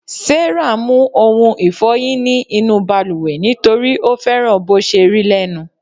Sarah mu oun ìfoyin ní inú baluwe nitori o fẹràn bò se rí lẹnu